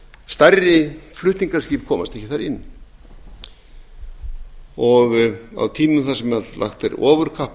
stærri flutningaskip komast ekki þar inn á tímum þar sem ofurkapp er lagt á